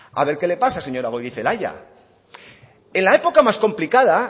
a ver qué le pasa señora goirizelaia en la época más complicada